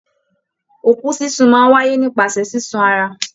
Òkú sísun máa n wáyé nípasẹ̀ sísun ará.